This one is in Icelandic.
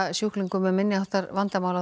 sjúklingum með minni háttar vandamál á